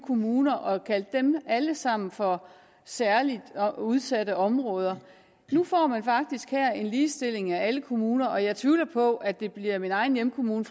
kommuner og kalde dem alle sammen for særlig udsatte områder får man faktisk her en ligestilling af alle kommuner og jeg tvivler på at det bliver min egen hjemkommune